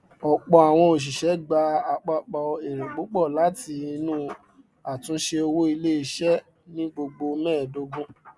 ọpọ àwọn oṣiṣẹ gba apapọ èrè púpọ láti inú àtúnṣe owó iléiṣẹ ní gbogbo mẹẹdogun